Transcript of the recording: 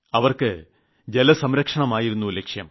അവർക്ക് ജലസംരക്ഷണമായിരുന്നു ലക്ഷ്യം